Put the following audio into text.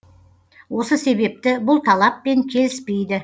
осы себепті бұл талаппен келіспейді